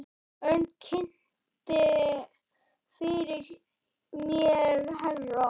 Örn kynnti fyrir mér herra